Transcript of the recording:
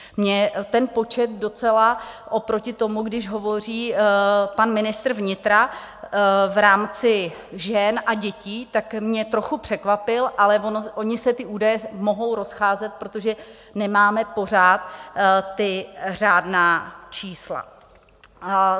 Mě ten počet docela oproti tomu, když hovoří pan ministr vnitra v rámci žen a dětí, tak mě trochu překvapil, ale ony se ty údaje mohou rozcházet, protože nemáme pořád ta řádná čísla.